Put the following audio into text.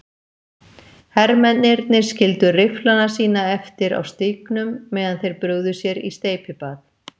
Hermennirnir skildu rifflana sína eftir á stígnum meðan þeir brugðu sér í steypibað.